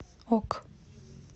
ок